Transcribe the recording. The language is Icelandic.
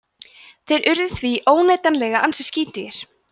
þeir urðu því óneitanlega ansi skítugir